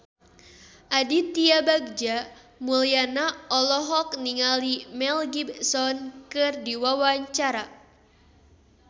Aditya Bagja Mulyana olohok ningali Mel Gibson keur diwawancara